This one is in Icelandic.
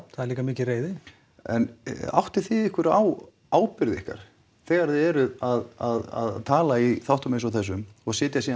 það er líka mikil reiði en áttið þið ykkur á ábyrgð ykkar þegar þið eruð að tala í þáttum eins og þessum og sitjið svo